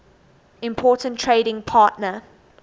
important trading partner